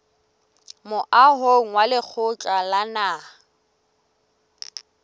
moahong wa lekgotla la naha